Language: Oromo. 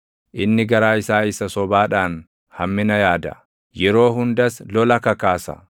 inni garaa isaa isa sobaadhaan hammina yaada; yeroo hundas lola kakaasa.